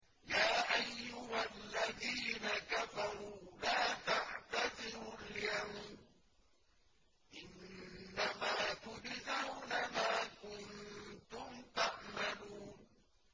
يَا أَيُّهَا الَّذِينَ كَفَرُوا لَا تَعْتَذِرُوا الْيَوْمَ ۖ إِنَّمَا تُجْزَوْنَ مَا كُنتُمْ تَعْمَلُونَ